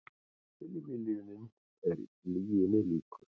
Tilviljunin er lyginni líkust